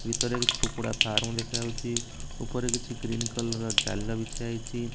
ଭିତରେ କିଛି କୁକୁଡା ଫାର୍ମ ଦେଖାଯାଉଚି ଉପରେ କିଛି ଗ୍ରୀନ୍ କଲର ଜାଲ ବିଛା ହେଇଚି।